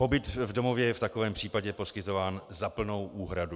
Pobyt v domově je v takovém případě poskytován za plnou úhradu.